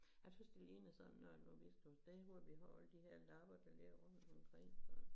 Jeg synes det ligner sådan når hvis du et sted hvor vi har alle de her lapper der ligger rundt i en ring og